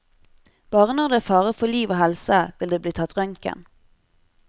Bare når det er fare for liv og helse, vil det bli tatt røntgen.